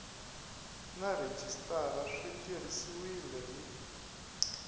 na rhejisitara swi tirhisiwile hi